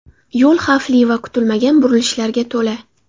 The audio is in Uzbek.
Yo‘l xavfli va kutilmagan burilishlarga to‘la.